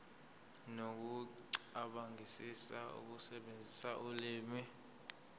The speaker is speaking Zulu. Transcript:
nokucabangisisa ukusebenzisa ulimi